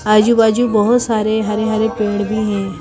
आजू-बाजू बहुत सारे हरे-हरे पेड़ भी हैं।